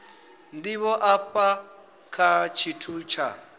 ndivho afha kha tshithu tsha